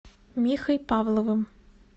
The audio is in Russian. михой павловым